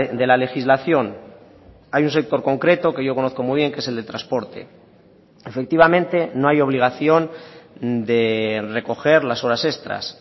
de la legislación hay un sector concreto que yo conozco muy bien que es el de transporte efectivamente no hay obligación de recoger las horas extras